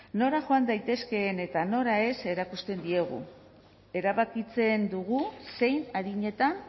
no nora joan daitezkeen eta nora ez erakusten diegu erabakitzen dugu zein adinetan